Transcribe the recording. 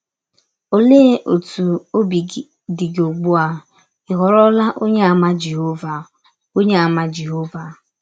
Ọlee ọtụ ọbi dị gị ụgbụ a ị ghọrọla Ọnyeàmà Jehọva Ọnyeàmà Jehọva?